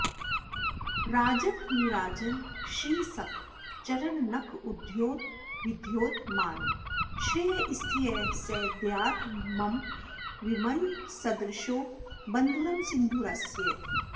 राजन्नीराजनश्रीसखचरणनखद्योतविद्योतमानः श्रेयः स्थेयः स देयान्मम विमलदृशो बन्धुरं सिन्धुरास्यः